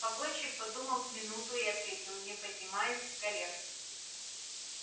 погонщик подумал с минуту и ответил не поднимаясь с колен